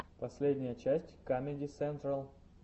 последняя часть камеди сентрал